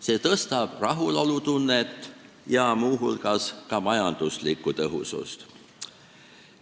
See suurendab rahulolutunnet ja muu hulgas majanduslikku tõhusust.